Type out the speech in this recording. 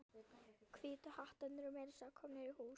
Hvítu hattarnir eru meira að segja komnir í hús.